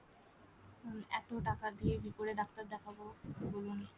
এত টাকা দিয়ে কি করে ডাক্তার দেখাবো বলুন